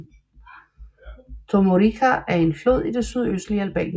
Tomorrica er en flod i det sydøstlige Albanien